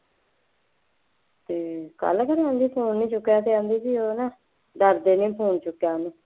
ਅਤੇ ਕੱਲ ਕਹਿੰਦੀ ਉਂਝ ਹੀ ਫੋਨ ਚੁੱਕਿਆ ਕਹਿੰਦਾ ਸੀ ਹੈ ਨਾ, ਡਰਦੇ ਨੇ ਨਹੀਂ ਫੋਨ ਚੁੱਕਿਆ ਕਹਿੰਦੀ